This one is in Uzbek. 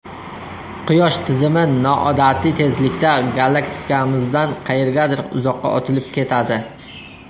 Quyosh tizimi noodatiy tezlikda galaktikamizdan qayergadir uzoqqa otilib ketadi.